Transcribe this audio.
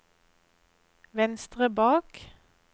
venstre bak